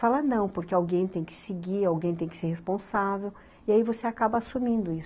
Falar não, porque alguém tem que seguir, alguém tem que ser responsável, e aí você acaba assumindo isso.